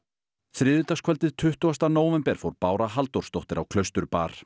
þriðjudagskvöldið tuttugasta nóvember fór Bára Halldórsdóttir á